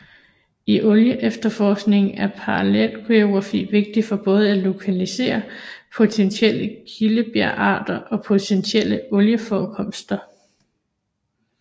I olieefterforkning er paleogeografi vigtig både for at lokalisere potentielle kildebjergarter og potentielle olieforekomster